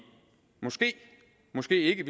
måske måske ikke